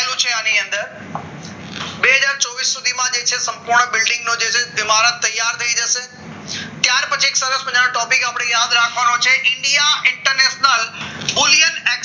પેલો છે આની અંદર બે હજાર ચોવીસ સુધીમાં છે સંપૂર્ણ બિલ્ડીંગ નો જે છે એ મારા તૈયાર થઈ જશે ત્યાર પછી સરસ મજાનો topic યાદ રાખવાનો છે India International Bullion